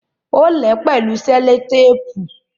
Ó lè ẹ́ pẹ̀lú selotéépù